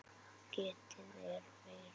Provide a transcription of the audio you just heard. Getið er þeirra.